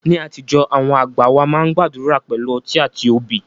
Ní àtijọ́, àwọn àgbà wá máa ń gbàdúrà pẹ̀lú ọtí àti obì